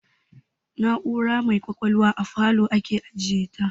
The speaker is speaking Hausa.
Na'ura mai kwakwalwa a falow ake ajiyeshi